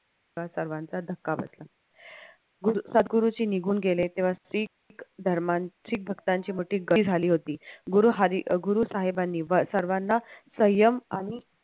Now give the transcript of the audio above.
सर्वांचा धक्का बसला सदगुरुजी निघून गेले तेव्हा धर्मान शिख भक्तांची मोठी गर्दी झाली होती. गुरु साहेबांनी सर्वाना सय्यम आणि